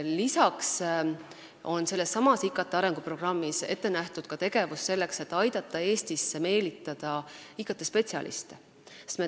Lisaks on sellessamas IKT arenguprogrammis ette nähtud tegevus selleks, et aidata Eestisse meelitada IKT-spetsialiste.